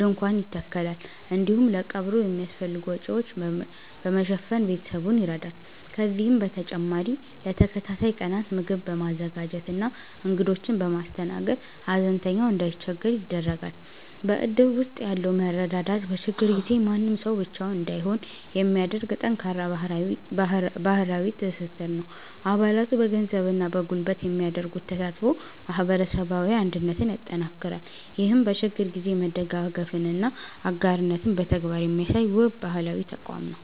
ድንኳን ይተከላል፤ እንዲሁም ለቀብሩ የሚያስፈልጉ ወጪዎችን በመሸፈን ቤተሰቡን ይረዳል። ከዚህም በተጨማሪ ለተከታታይ ቀናት ምግብ በማዘጋጀትና እንግዶችን በማስተናገድ፣ ሐዘንተኛው እንዳይቸገር ያደርጋል። በእድር ውስጥ ያለው መረዳዳት፣ በችግር ጊዜ ማንም ሰው ብቻውን እንዳይሆን የሚያደርግ ጠንካራ ማህበራዊ ትስስር ነው። አባላቱ በገንዘብና በጉልበት የሚያደርጉት ተሳትፎ ማህበረሰባዊ አንድነትን ያጠናክራል። ይህም በችግር ጊዜ መደጋገፍንና አጋርነትን በተግባር የሚያሳይ፣ ውብ ባህላዊ ተቋም ነው።